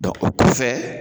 Dɔn o kɔfɛ